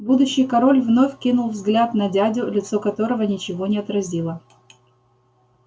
будущий король вновь кинул взгляд на дядю лицо которого ничего не отразило